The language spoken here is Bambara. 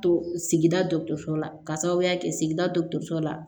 To sigida dɔ so la ka sababuya kɛ sigida dɔgɔtɔrɔso la